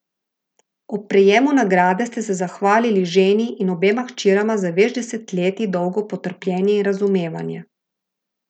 Ob prejemu nagrade ste se zahvalili ženi in obema hčerama za več desetletij dolgo potrpljenje in razumevanje.